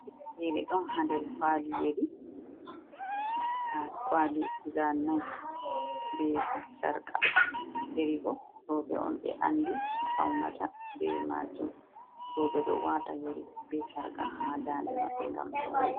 Yeri ɗon ha nder kwali yeri, ha kwali guda nay be sarka, yeri bo roɓɓe on ɓe andi faunata be majum roɓɓe ɗo wata yeri be sarka ha dande maɓɓe ngam howala